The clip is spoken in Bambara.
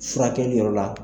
Furakɛ yɔrɔ la.